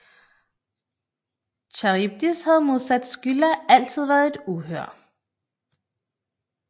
Charybdis havde modsat Skylla altid været et uhyre